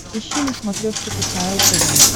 ищи на смотрешке кхл тв